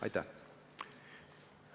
Aitäh!